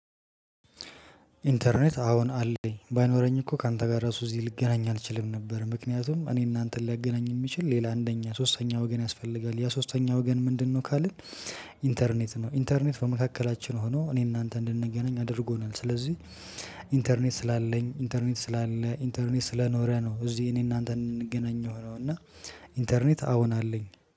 ኢንተርኔት አዎን አለኝ ባይኖረኝ እኮ ካንተ ጋር ራሱ እዚህ ልገናኝ አልችልም ነበር ምክንያቱም እኔና አንተን ሊያገናኝ የሚችል ሌላ አንደኛ ሶስተኛ ወገን ያስፈልጋል ያ ሶስተኛ ወገን ምንድነው ካልን? ኢንተርኔት ነው ኢንተርኔት በመካከላችን ሆኖ እኔና አንተ እንድንገናኝ አድርጎናል ስለዚህ። ኢንተርኔት ስላለኝ ኢንተርኔት ስላለ ኢንተርኔት ስለኖረ ነው። እዚህ እኔና አንተ እንድንገናኝ የሆነው እና። ኢንተርኔት አዎን አለኝ